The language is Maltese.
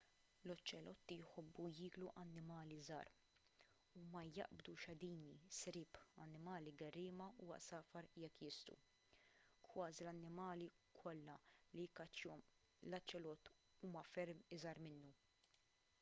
l-oċelotti jħobbu jieklu annimali żgħar huma jaqbdu xadini sriep annimali gerriema u għasafar jekk jistgħu kważi l-annimali kollha li jikkaċċjahom l-oċelott huma ferm iżgħar minnu